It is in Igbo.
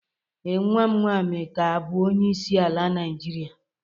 Ee, nwa m nwaanyi ka abụ onyeisi ala Naijirịa.